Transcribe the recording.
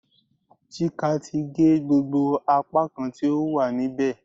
Chika ti ge gbogbo apakan ti o wa nibẹ